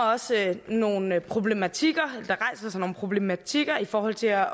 også nogle problematikker problematikker i forhold til at